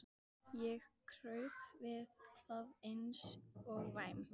Ég kraup við það eins og væm